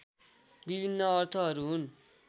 विभिन्न अर्थहरू हुन्